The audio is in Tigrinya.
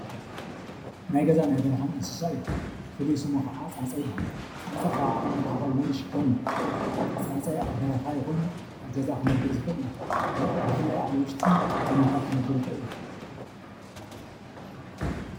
ናይ ገዛን በረኻን እንስሳ እዩ። ፍሉይ ሽሙ ድማ ፃፀ ይባሃል። ፃፀ ካብ ዓቅሙ ንዓቐብ ክብደት ክሽከም ይኽእል እዩ። ፃፀ ኣብ በረኻ ይኹን ኣብ ገዛ ክነብር ዝኽእል እንስሳ እዩ። ብፍላይ ኣብ ውሽጢ ካናታት ክነብር ይኽእል እዩ።